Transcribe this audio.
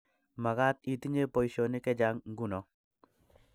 Magaat itinye boishionik chechang nguno